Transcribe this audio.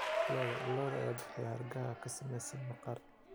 Lo'da lo'da ayaa bixiya hargaha ka samaysan maqaar.